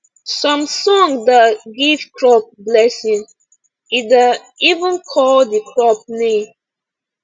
some song da give crop blessing e da even call the crop name